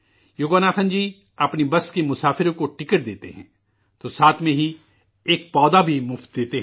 یوگناتھن جی، اپنی بس کے مسافروں کو ٹکٹ دیتے ہیں، تو ساتھ میں ہی ایک پودا بھی مفت دیتے ہیں